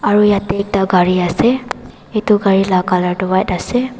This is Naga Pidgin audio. aru yate ekta gari ase etu gari laga colour tu white ase.